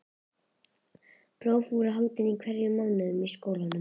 Próf voru haldin í hverjum mánuði í skólanum.